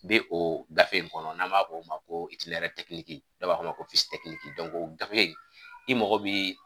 Be oo gafe in kɔnɔ n'an b'a f'o ma ko dɔw b'a f'o ma ko , o gafe i mogo be